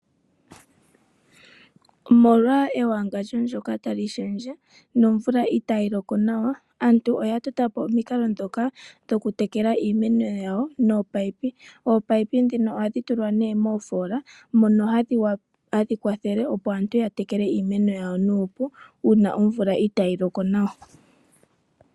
Omolwa ewangandjo ndyoka tali shendje nomvula itayi loko nawa aantu oya totapo omikalo ndhoka dhokutekela iimeno yawo nominino. Ominino ndhino ohadhi tulwa mofoola mono hadhi kwathele aantu ya tekele iimeno yawo nuupu uuna omvula itayi loko nawa.